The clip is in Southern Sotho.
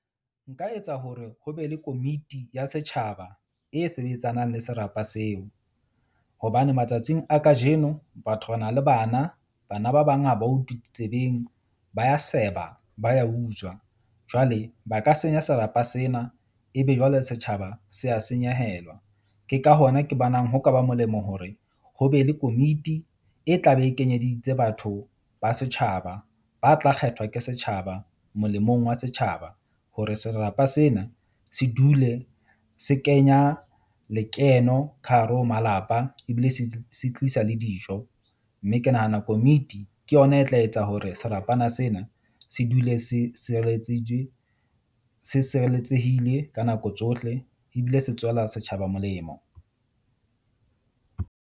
Nka etsa hore ho be le komiti ya setjhaba e sebetsanang le serapa seo, hobane matsatsing a kajeno batho re na le bana. Bana ba bang ha ba utlwe ditsebeng ba ya seba, ba ya utswa jwale ba ka senya serapa sena. Ebe jwale setjhaba se a senyehelwa. Ke ka hona ke bonang ho ka ba molemo hore ho be le komiti e tla be e kenyeditse batho ba setjhaba ba tla kgethwa ke setjhaba molemong wa setjhaba. Hore serapa sena se dule se kenya lekeno ka hare ho malapa ebile se tlisa le dijo. Mme ke nahana komiti ke yona e tla etsa hore serapana sena se dule se se sireletsehile ka nako tsohle. Ebile se tswela setjhaba molemo.